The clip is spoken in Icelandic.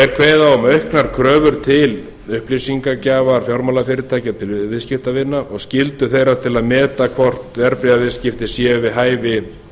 er kveðið á um auknar kröfur til upplýsingagjafar fjármálafyrirtækja til viðskiptavina og skyldu þeirra til að meta hvort verðbréfaviðskipti séu við hæfi